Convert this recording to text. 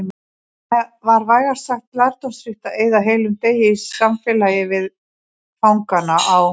Var vægast sagt lærdómsríkt að eyða heilum degi í samfélagi við fangana á